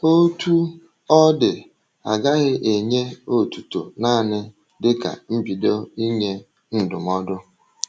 Otú ọ dị, a gaghị enye otuto naanị dịka mbido ịnye ndụmọdụ.